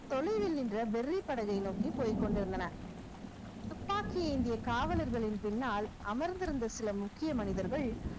தொலைவில் நின்ற வெறிப்படகை நோக்கி போய்க் கொண்டிருந்தன துப்பாக்கி ஏந்திய காவலர்களின் பின்னால் அமர்ந்திருந்த சில முக்கிய மனிதர்கள்